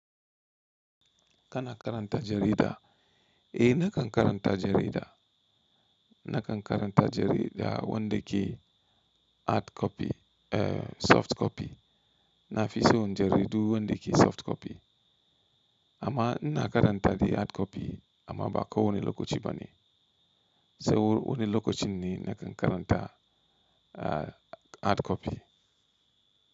Kana karanta jarida? Eh, nakan karanta jarida. Nakan karanta jarida wandake hard copy, eh, soft copy. Nafison jaridu wandake soft copy. Amma ina karanta dai hard copy amma ba kawai wani lokaci bane. Sau wani lokacin ne nakan karanta, ah, hard copy.